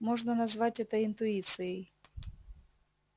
можно назвать это интуицией